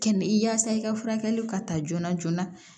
Kɛnɛ i yaasa i ka furakɛliw ka taa joona joona